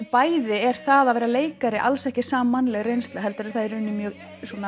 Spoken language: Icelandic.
bæði er það að vera leikari alls ekki sammannleg reynsla heldur er það mjög